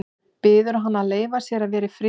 Biður hana að leyfa sér að vera í friði.